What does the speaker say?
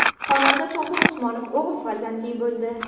Xonanda Tohir Usmonov o‘g‘il farzandli bo‘ldi.